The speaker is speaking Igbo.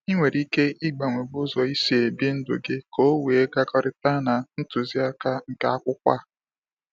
I nwere ike ịgbanwego ụzọ I si ebi ndụ gị ka o wee gakọrịta na ntuziaka nke akwụkwọ ah